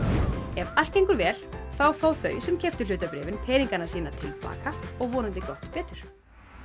ef allt gengur vel þá fá þau sem keyptu hlutabréfin peningana sína til baka og vonandi gott betur